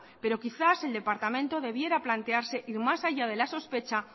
pero quizás el departamento debiera plantearse ir más allá de la sospecha